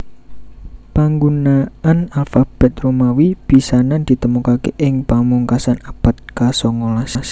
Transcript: Panggunaan alfabet Romawi pisanan ditemokaké ing pungkasan abad kasongolas